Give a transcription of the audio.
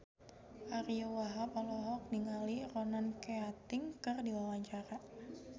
Ariyo Wahab olohok ningali Ronan Keating keur diwawancara